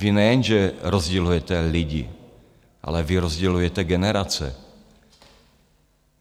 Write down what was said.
Vy nejenže rozdělujete lidi, ale vy rozdělujete generace.